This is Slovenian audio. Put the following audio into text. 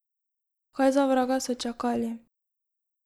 Kaj za vraga so čakali?